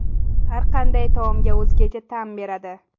Har qanday taomga o‘zgacha ta’m beradi.